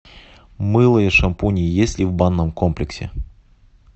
мыло и шампуни есть ли в банном комплексе